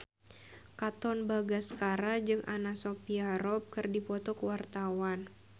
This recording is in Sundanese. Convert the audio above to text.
Katon Bagaskara jeung Anna Sophia Robb keur dipoto ku wartawan